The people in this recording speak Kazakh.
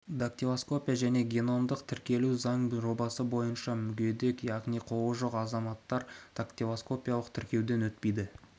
дактилоскопия және геномдық тіркеу туралы заң жобасы бойынша мүгедек яғни қолы жоқ азаматтар дактилоскопиялық тіркеуден өтпейді